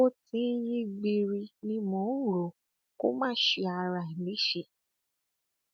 bó ti ń yí gbiiri ni mo ń rò ó kó má ṣe ara rẹ léṣe